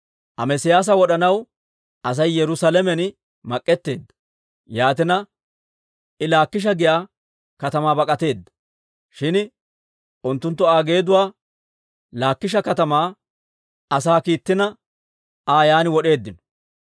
Amesiyaasa wod'anaw Asay Yerusaalamen mak'etteedda; yaatina I Laakisha giyaa katamaa bak'ateedda. Shin unttunttu Aa geeduwaa Laakisha katamaa asaa kiittina, Aa yaan wod'eeddino.